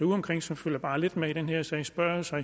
udeomkring som følger bare lidt med i den her sag spørger jo sig